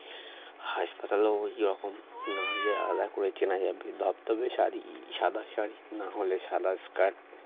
হাসপাতালও ওইরকম নাহলে আলাদা করে কেনা যাবে ধবধবে শাড়ি সাদা শাড়ি নাহলে সাদা skirt